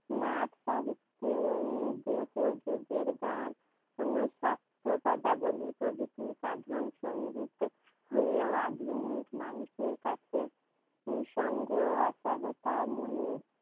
নাট্য সাহিত্য ও দেহযোগের গান পদাবলী প্রভৃতি সাধন সংগীত হয়েও আধুনিক মানুষের কাছে নিঃসঙ্গ অসহায়তা